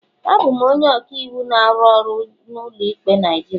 Abụ m onye ọka iwu na-arụ ọrụ n'ụlọ ikpe Naijiria.